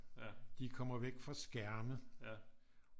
De kommer væk fra skærme